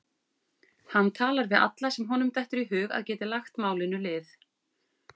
Hann talar við alla sem honum dettur í hug að geti lagt málinu lið.